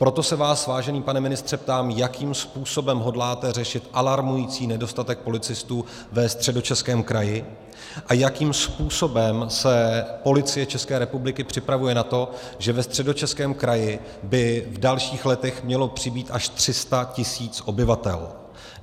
Proto se vás, vážený pane ministře, ptám, jakým způsobem hodláte řešit alarmující nedostatek policistů ve Středočeském kraji a jakým způsobem se Policie České republiky připravuje na to, že ve Středočeském kraji by v dalších letech mělo přibýt až 300 tisíc obyvatel.